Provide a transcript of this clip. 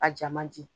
A ja man di